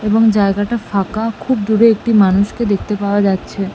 এবং জায়গাটা ফাঁকা খুব দূরে একটি মানুষকে দেখতে পাওয়া যাচ্ছে।